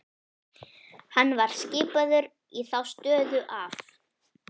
Hann var skipaður í þá stöðu af